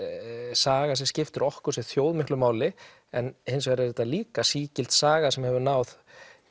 saga sem skiptir okkur sem þjóð miklu máli en hins vegar er þetta líka sígild saga sem hefur náð